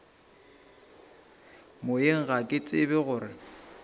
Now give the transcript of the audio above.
moyeng ga ke tsebe gore